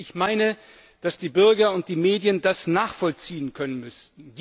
Ich meine, dass die Bürger und die Medien das nachvollziehen können müssten.